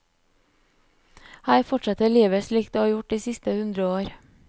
Her forsetter livet slik det har gjort de siste hundre år.